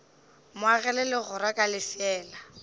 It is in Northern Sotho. mo agela legora ka lefeela